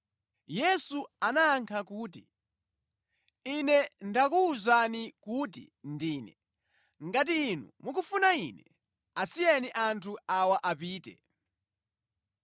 Yesu anayankha kuti, “Ine ndakuwuzani kuti Ndine. Ngati inu mukufuna Ine, asiyeni anthu awa apite.”